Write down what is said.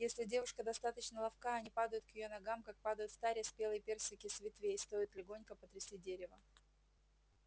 если девушка достаточно ловка они падают к её ногам как падают в таре спелые персики с ветвей стоит легонько потрясти дерево